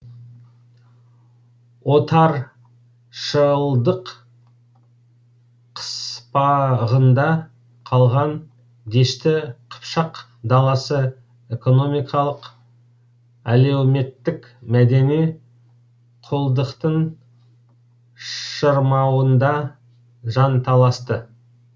отаршылдық қыспағында қалған дешті қыпшақ даласы экономикалық әлеуметтік мәдени құлдықтың шырмауында жанталасты